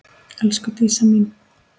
Elsku Dísa mín.